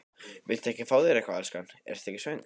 Viltu ekki fá þér eitthvað, elskan, ertu ekki svöng?